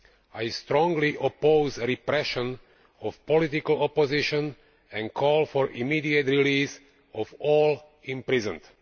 I strongly oppose the repression of political opposition and call for an immediate release of all those imprisoned.